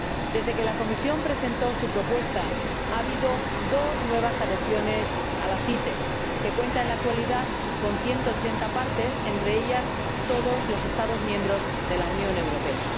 Desde que la Comisión presentó su propuesta, ha habido dos nuevas adhesiones a la CITES, que cuenta en la actualidad con 180 partes, entre ellas todos los Estados miembros de la Unión Europea.